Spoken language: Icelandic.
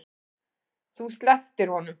Þú slepptir honum.